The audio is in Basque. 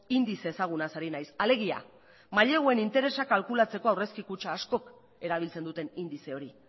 indize ezagunaz ari naiz alegia maileguen interesa kalkulatzeko aurrezki kutxa askok erabiltzen duten indize hori